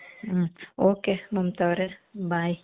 ಹ್ಮ್ ok Mamata ಅವರೇ bye .